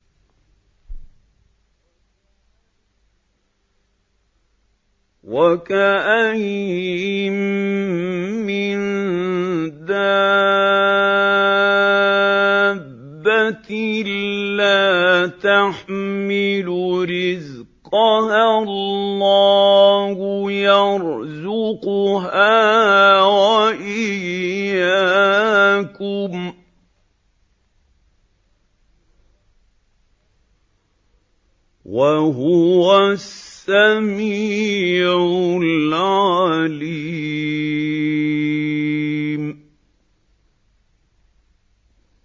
وَكَأَيِّن مِّن دَابَّةٍ لَّا تَحْمِلُ رِزْقَهَا اللَّهُ يَرْزُقُهَا وَإِيَّاكُمْ ۚ وَهُوَ السَّمِيعُ الْعَلِيمُ